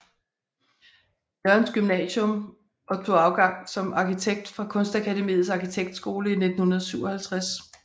Jørgens Gymnasium og tog afgang som arkitekt fra Kunstakademiets Arkitektskole i 1957